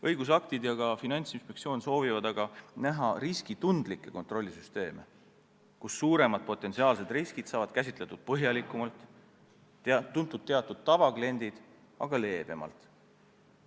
Õigusaktid ja ka Finantsinspektsioon soovivad aga näha riskitundlikke kontrollisüsteeme, kus suuremad potentsiaalsed riskid saavad käsitletud põhjalikumalt, tuntud-teatud tavakliendid aga leebemalt.